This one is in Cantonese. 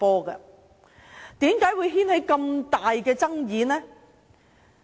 為甚麼會引起這麼大的爭議？